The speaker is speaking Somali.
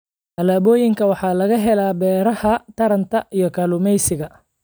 Alaabooyinka waxaa laga helaa beeraha, taranta, iyo kalluumeysiga.